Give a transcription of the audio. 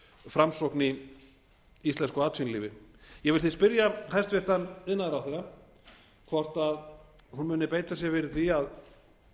framsókn í íslensku atvinnulífi ég vil því spyrja hæstvirtur iðnaðarráðherra hvort hún muni beita sér fyrir því að